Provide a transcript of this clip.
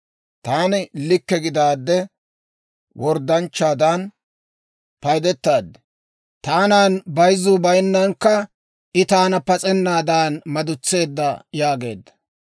Taani likke gidaadde, worddanchchaadan paydetaad. Taanan bayzzuu bayinnankka, I taana pas'ennaadan madutseedda› yaageedda.